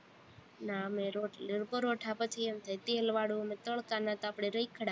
ના અમે રોટલી, પરોઠા પછી એમ થાય તેલવાળું ને તળતા ન્યા તો આપણે રખડા